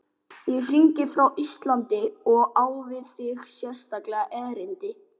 Ég hringi frá Íslandi og á við þig sérstakt erindi.